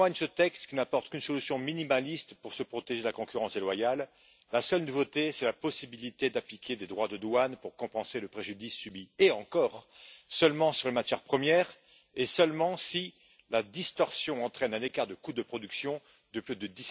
Comme en témoigne ce texte, qui n'apporte qu'une solution minimaliste pour se protéger de la concurrence déloyale, la seule nouveauté, c'est la possibilité d'appliquer des droits de douane pour compenser le préjudice subi, et encore, seulement sur les matières premières, et seulement si la distorsion entraîne un écart de coût de production de plus de